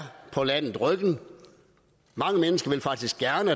på landet mange mennesker vil faktisk gerne